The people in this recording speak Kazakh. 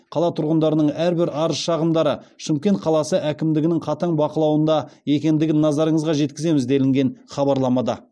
қала тұрғындарының әрбір арыз шағымдары шымкент қаласы әкімдігінің қатаң бақылауында екендігін назарыңызға жеткіземіз делінген хабарламада